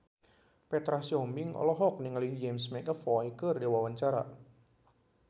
Petra Sihombing olohok ningali James McAvoy keur diwawancara